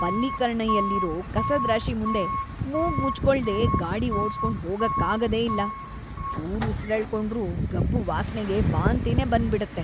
ಪಲೀಕರನೈಯಲ್ಲಿರೋ ಕಸದ್ ರಾಶಿ ಮುಂದೆ ಮೂಗ್‌ ಮುಚ್ಕೊಳ್ದೇ ಗಾಡಿ ಓಡ್ಸ್ಕೊಂಡ್‌ ಹೋಗಕ್ಕಾಗದೇ ಇಲ್ಲ. ಚೂರ್ ಉಸ್ರೆಳ್ಕೊಂಡ್ರೂ ಗಬ್ಬು ವಾಸ್ನೆಗೆ ವಾಂತಿನೇ ಬಂದ್ಬಿಡತ್ತೆ.